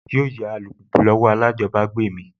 Yóò yá alùpùpù lọ́wọ́ alájọbágbé mi